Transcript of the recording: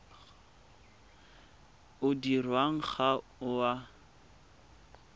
o dirwang ga o a